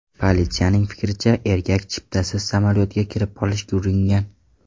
Politsiyaning fikricha, erkak chiptasiz samolyotga kirib olishga uringan.